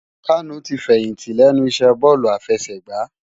Kanu ti fèyinti lènú isè bòlú àfèsègbá